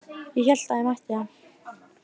Ég hélt ég mætti það.